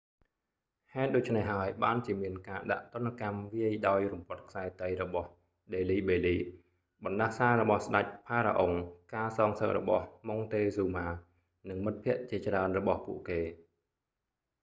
ហេតុដូច្នេះហើយ បានជាមានការដាក់ទណ្ឌកម្មវាយដោយរំពាត់ខ្សែតីរបស់ delhi belly ដេលីបេលី បណ្តាសារបស់ស្តេច pharaoh ផារ៉ាអុង ការសងសឹករបស់ montezuma ម៉ុងតេហ្ស៊ូម៉ា និងមិត្តភក្តិជាច្រើនរបស់ពួកគេ